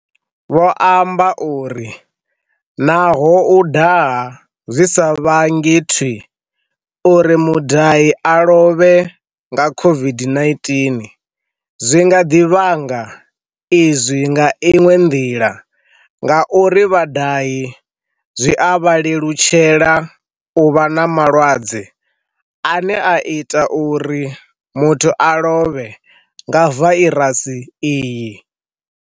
Vho amba uri, Naho u daha zwi sa vhangi thwii uri mudahi a lovhe nga COVID-19, zwi nga ḓi vhanga izwi nga iṅwe nḓila ngauri vha-dahi zwi a vha lelutshela u vha na malwadze ane a ita uri muthu a lovhe nga vairasi iyi.